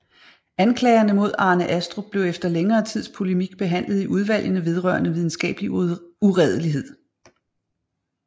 Anklagerne mod Arne Astrup blev efter længere tids polemik behandlet i Udvalgene vedrørende Videnskabelig Uredelighed